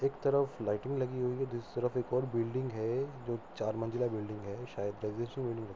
एक तरफ लाइटिंग लगी हुई है दूसरी तरफ एक और बिल्डिंग है जो चार मंजिला बिल्डिंग है। शायद